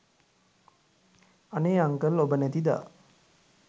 අනේ අංකල් ඔබ නැති දා